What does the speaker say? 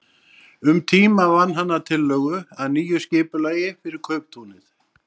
Um tíma vann hann að tillögu að nýju skipulagi fyrir kauptúnið.